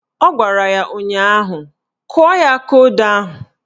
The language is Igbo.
Ọ gwara ya ụnyaahụ "Kụọ ya akaodo ahụ"!